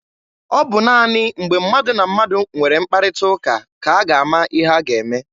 Ọ bụ naanị mgbe mmadụ na mmadụ nwere mkparịta ụka ka a ga-ama ihe a ga-eme.